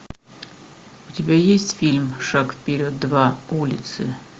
у тебя есть фильм шаг вперед два улицы